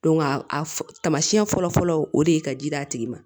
a tamasiyɛn fɔlɔ fɔlɔ o de ye ka ji d'a tigi ma